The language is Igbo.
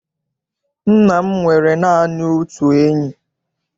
Nna m nwere naanị otu enyi.